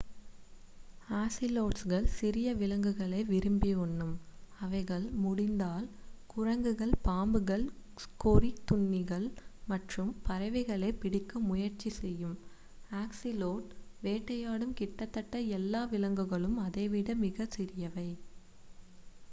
ஆசிலோட்ஸ்கள் சிறிய விலங்குகளை விரும்பி உண்ணும் அவைகள் முடிந்தால் குரங்குகள் பாம்புகள் கொறித்துண்ணிகள் மற்றும் பறவைகளைப் பிடிக்க முயற்ச்சி செய்யும் ஆஸிலோட் வேட்டையாடும் கிட்டத்தட்ட எல்லா விலங்குகளும் அதைவிட மிகச் சிறியவை